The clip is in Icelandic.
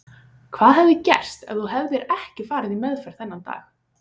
Hvað hefði gerst ef þú hefðir ekki farið í meðferð þennan dag?